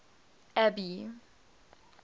abby